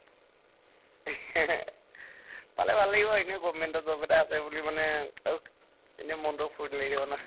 পালে ভাল লাগিব government ৰ job এটা আছে বুলি মানে এতিয়া মনটো ফুৰ্তি লাগি থাকিব না